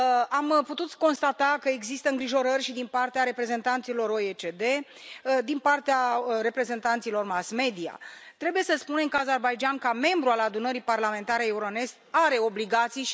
Am putut constata că există îngrijorări și din partea reprezentanților OECD, din partea reprezentanților mass media. Trebuie să spunem că Azerbaidjanul, ca membru al Adunării Parlamentare Euronest, are obligații.